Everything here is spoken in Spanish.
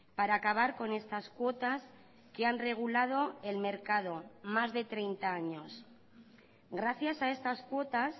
para acabar con estas cuotas que han regulado el mercado más de treinta años gracias a estas cuotas